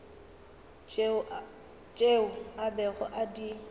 tšeo a bego a di